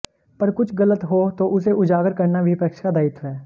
पर कुछ गलत हो तो उसे उजागर करना विपक्ष का दायित्व है